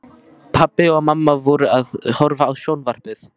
Pabbi og mamma voru að horfa á sjónvarpið.